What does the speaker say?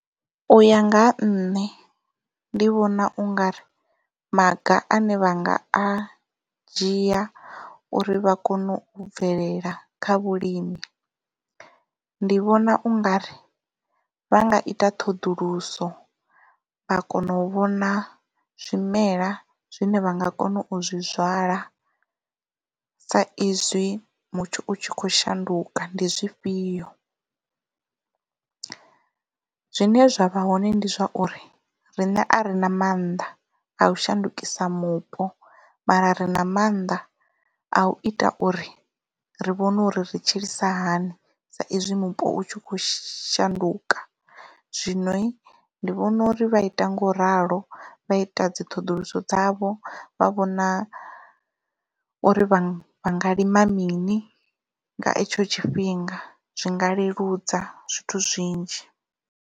U ya nga ha nṋe ndi vhona ungari maga ane vha nga a dzhia uri vha kone u bvelela kha vhulimi ndi vhona u nga ri vha nga ita ṱhoḓuluso vha kona u vhona zwimela zwine vha nga kona u zwi zwala sa izwi mutsho utshi kho shanduka ndi zwifhio. Zwine zwa vha hoṋe ndi zwa uri riṋe a rina maanḓa a u shandukisa mupo mara ri na maanḓa a u ita uri ri vhone uri ri tshilisa hani sa izwi mupo u tshi kho shanduka zwino ndi vhona uri vha ita ngo ralo vha ita dzi ṱhoḓuluso dzavho vha vhona uri vha nga lima mini nga etsho tshifhinga zwinga leludza zwithu zwinzhi.